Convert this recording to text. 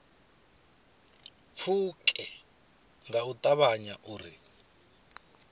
pfuke nga u ṱavhanya uri